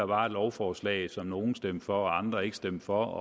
var et lovforslag som nogle stemte for og andre ikke stemte for